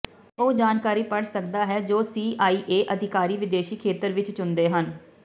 ਇਹ ਉਹ ਜਾਣਕਾਰੀ ਪੜ੍ਹ ਸਕਦਾ ਹੈ ਜੋ ਸੀਆਈਏ ਅਧਿਕਾਰੀ ਵਿਦੇਸ਼ੀ ਖੇਤਰ ਵਿਚ ਚੁਣਦੇ ਹਨ